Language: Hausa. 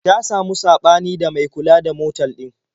Ta samu saɓani da mai kula da motal ɗin.